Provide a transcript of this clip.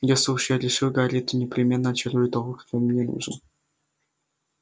если уж я решил гарри то непременно очарую того кто мне нужен